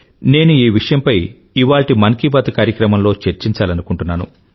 నేను ఈ విషయంపై ఇవాల్టి మన్ కీ బాత్ కార్యక్రమంలో చర్చించాలనుకుంటున్నాను